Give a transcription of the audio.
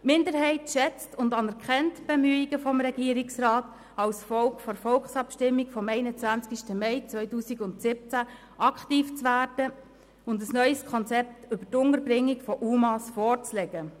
Die Minderheit schätzt und anerkennt die Bemühungen des Regierungsrats, infolge der Volksabstimmung vom 21. Mai 2017 aktiv zu werden und ein neues Konzept zur Unterbringung der UMA vorzulegen.